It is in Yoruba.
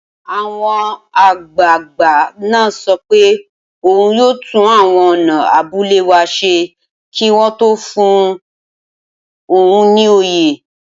Awon agbaagba naa so pe oun yoo tun awon ona abule wa se ki won to fun oun ni oyè.